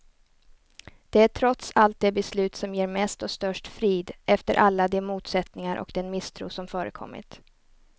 Det är trots allt det beslut som ger mest och störst frid, efter alla de motsättningar och den misstro som förekommit.